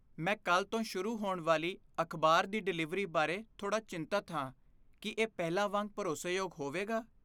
ਮੈਂ ਕੱਲ੍ਹ ਤੋਂ ਸ਼ੁਰੂ ਹੋਣ ਵਾਲੀ ਅਖਬਾਰ ਦੀ ਡਿਲਿਵਰੀ ਬਾਰੇ ਥੋੜਾ ਚਿੰਤਤ ਹਾਂ। ਕੀ ਇਹ ਪਹਿਲਾਂ ਵਾਂਗ ਭਰੋਸੇਯੋਗ ਹੋਵੇਗਾ?